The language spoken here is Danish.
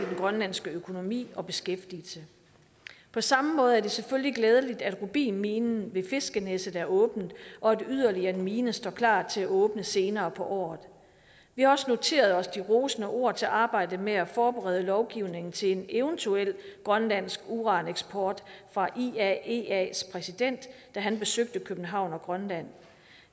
grønlandske økonomi og beskæftigelse på samme måde er det selvfølgelig glædeligt at rubinminen ved fiskenæsset er åbnet og at yderligere en mine står klar til at åbne senere på året vi har også noteret os de rosende ord til arbejdet med at forberede lovgivningen til en eventuel grønlandsk uraneksport fra iaeas præsident da han besøgte københavn og grønland